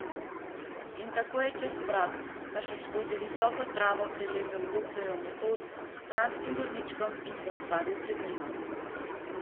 In tako je čez prag, pa še skozi visoko travo prilezel doktorjev motor s stranskim vozičkom, in se ustavil pred njima.